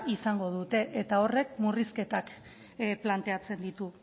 izango dute era horrek murrizketak planteatzen ditu